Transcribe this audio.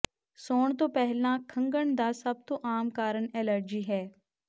ਸੌਣ ਤੋਂ ਪਹਿਲਾਂ ਖੰਘਣ ਦਾ ਸਭ ਤੋਂ ਆਮ ਕਾਰਨ ਐਲਰਜੀ ਹੈ